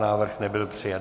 Návrh nebyl přijat.